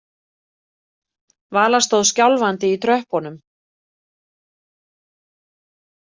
Vala stóð skjálfandi í tröppunum.